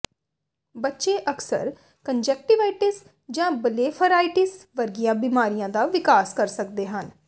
ਬੱਚੇ ਅਕਸਰ ਕੰਨਜਕਟਿਵਾਇਟਸ ਜਾਂ ਬਲੇਫਾਰਾਈਟਿਸ ਵਰਗੀਆਂ ਬਿਮਾਰੀਆਂ ਦਾ ਵਿਕਾਸ ਕਰ ਸਕਦੇ ਹਨ